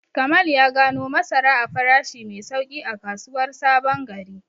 Kamal ya gano masara a farashi mai sauƙi a kasuwar Sabon Gari.